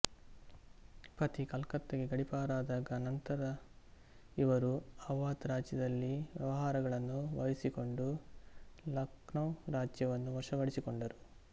ಪತಿ ಕಲ್ಕತ್ತಾಗೆ ಗಡೀಪಾರಾದ ನಂತರ ಇವರು ಅವಧ್ ರಾಜ್ಯದಲ್ಲಿ ವ್ಯವಹಾರಗಳನ್ನು ವಹಿಸಿಕೊಂಡು ಲಕ್ನೌ ರಾಜ್ಯವನ್ನು ವಶಪಡಿಸಿಕೊಂಡರು